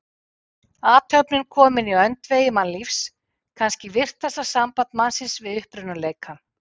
Athöfnin komin í öndvegi mannlífs, kannski virkasta samband mannsins við upprunaleikann.